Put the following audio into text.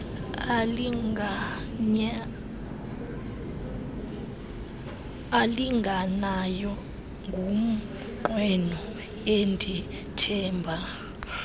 alinganayo ngumnqweno endithemba